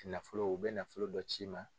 Nafolo u be nafolo dɔ c'i ma.